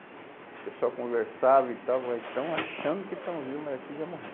O pessoal conversava e estava, estão achando que estão vivos, mas aqui já morreu.